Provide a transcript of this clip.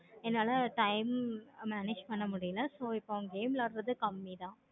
என்னால time manage பண்ண முடியல so இப்போ game விளையாடுறதே கம்மி தான்